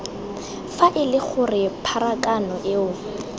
fa ele gore pharakano eo